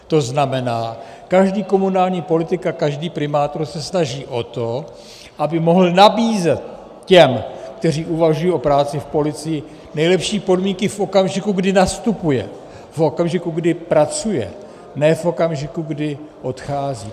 To znamená, každý komunální politik a každý primátor se snaží o to, aby mohl nabízet těm, kteří uvažují o práci v policii, nejlepší podmínky v okamžiku, kdy nastupují, v okamžiku, kdy pracují, ne v okamžiku, kdy odcházejí.